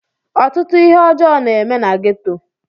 Ọtụtụ ihe ọjọ na eme na ghetto.